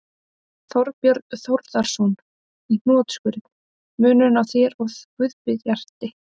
Þorbjörn Þórðarson: Í hnotskurn: Munurinn á þér og Guðbjarti?